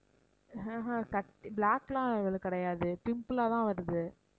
அஹ் ஹம் கட்~ black லாம் அவளுக்கு கிடையாது pimple ஆ தான் வருது